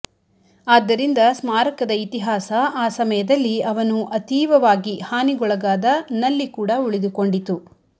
ಆದ್ದರಿಂದ ಸ್ಮಾರಕದ ಇತಿಹಾಸ ಆ ಸಮಯದಲ್ಲಿ ಅವನು ಅತೀವವಾಗಿ ಹಾನಿಗೊಳಗಾದ ನಲ್ಲಿ ಕೂಡ ಉಳಿದುಕೊಂಡಿತು